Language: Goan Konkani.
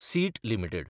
seat limited